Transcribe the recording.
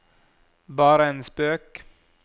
bare en spøk